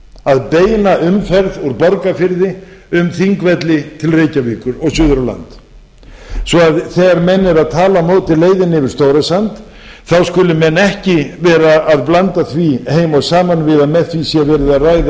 að beina umferð úr borgarfirði um þingvelli til reykjavíkur og suður á land svo að þegar menn eru að tala á móti leiðinni yfir stórasand þá skulu menn ekki vera að blanda því heim og saman við að með því sé verið að ræða